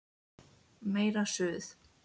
Meira Suð!